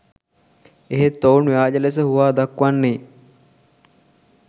එහෙත් ඔවුන් ව්‍යාජ ලෙස හුවා දක්වන්නේ